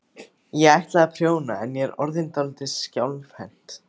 Ég ætlaði að prjóna en ég er orðin dálítið skjálfhent.